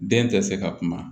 Den tɛ se ka kuma